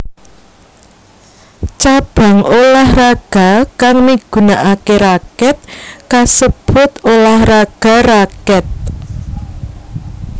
Cabang ulah raga kang migunakake rakèt kasebut ulah raga rakèt